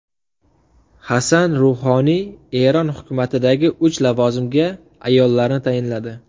Hasan Ruhoniy Eron hukumatidagi uch lavozimga ayollarni tayinladi.